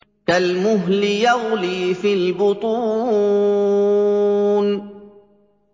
كَالْمُهْلِ يَغْلِي فِي الْبُطُونِ